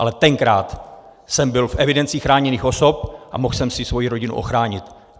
Ale tenkrát jsem byl v evidenci chráněných osob a mohl jsem si svoji rodinu ochránit.